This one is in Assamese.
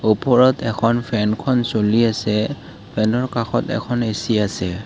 ওপৰত এখন ফেনখন চলি আছে ফেনৰ কাষত এখন এ_চি আছে।